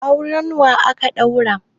Auren wa aka ɗaura?